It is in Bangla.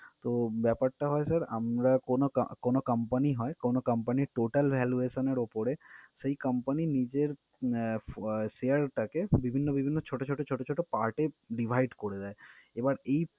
তো, ব্যাপারটা হয় sir আমরা কোন কা~ কোন company হয় কোন company র total valuation এর উপরে সেই company নিজের আহ ফ~ share টাকে বিভিন্ন বিভিন্ন ছোট ছোট ছোট ছোট part এ divide করে দেয়। এবার এই